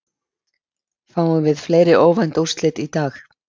Fáum við fleiri óvænt úrslit í dag?